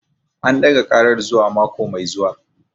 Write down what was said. An ɗaga karar zuwa mako mai zuwa